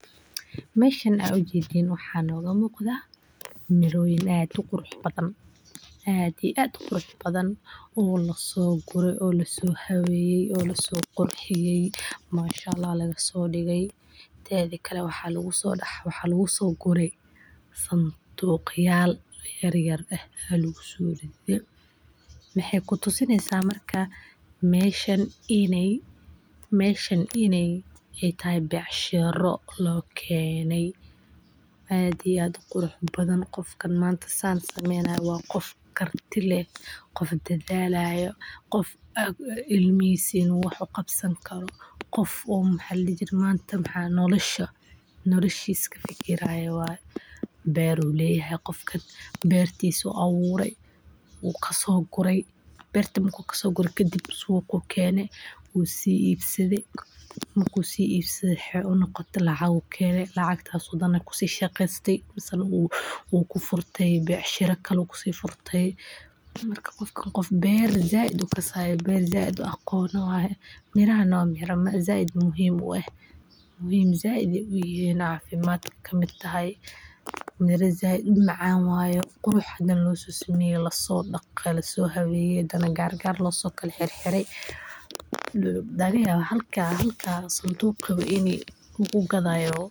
Meeshan waxaa nooga muuqda miroyin aad uqurux badan oo lasoo guraya oo lasoo habeeye waxaa lagu soo gure sanduuq yaryar mashaallah becshira loo keene qofka saan sameynayo waa qof karti leh oo noloshiisa kafikiraayo beer ayuu leyahay wuu soo gurte wuu ibsade lacag ayuu helay neel ayuu kafurtay mira sait umacaan waye lasoo habeeye laga yaaba halka sanduuq in kagu gadaayo.